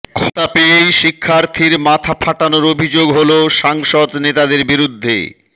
ক্ষমতা পেয়েই শিক্ষার্থীর মাথা ফাটানোর অভিযোগ হল সংসদ নেতাদের বিরুদ্ধে